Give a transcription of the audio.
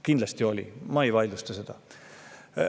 Kindlasti oli, ma ei vaidlusta seda.